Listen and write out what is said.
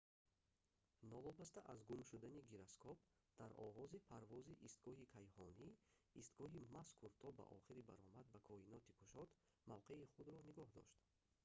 новобаста аз гум шудани гироскоп дар оғози парвози истгоҳи кайҳонӣ истгоҳи мазкур то ба охири баромад ба коиноти кушод мавқеи худро нигоҳ дошт